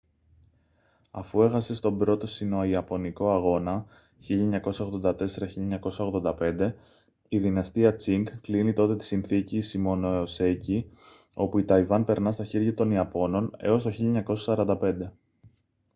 αφού έχασε στον α΄ σινοϊαπωνικό αγώνα 1984-1985 η δυναστεία τσινγκ κλείνει τότε τη συνθήκη shimonoseki όπου η ταϊβάν περνά στα χέρια των ιαπώνων έως το 1945